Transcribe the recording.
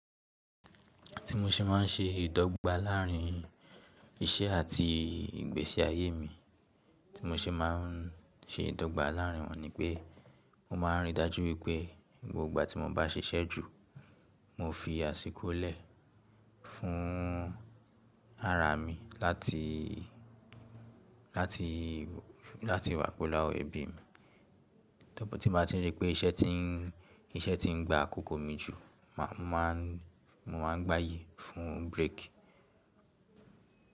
Tí mo ṣe má ń ṣe ìdọ́gba láàrín iṣẹ́ àti ìgbésí ayé mi, tí mo ṣe má ń ṣe ìdọ́gba láàrín wọ́n ni pé mo má ń rí i dájú wípé gbogbo ìgbà tí mo bá ṣiṣẹ́ jú, mo fi àsìkò lẹ̀ fún ara mi láti, láti, láti wà pelu awon ẹ̀bì mí. Tí b bá tí n rí pé iṣẹ́ ti ń, iṣẹ́ ti ń gba àkókò mi jù, màá, mo má ń gbàyí fún bírèkì.